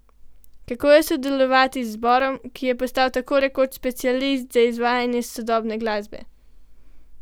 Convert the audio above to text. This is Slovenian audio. Kako je sodelovati z zborom, ki je postal tako rekoč specialist za izvajanje sodobne glasbe?